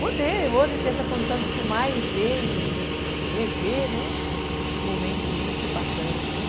Poder hoje ter essa condição de filmar e ver e rever, né, esses momentos muito bacanas.